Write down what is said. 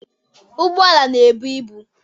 Ụgbọala na-ebu ibu.